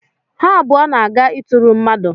Ha abụọ na-aga ịtụrụ mmadụ.